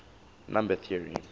number theory